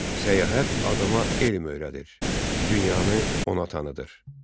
səyahət adama elm öyrədir, dünyanı ona tanıdır.